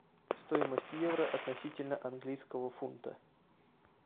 стоимость евро относительно английского фунта